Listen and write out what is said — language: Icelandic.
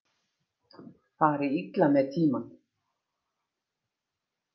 Fari illa með tímann.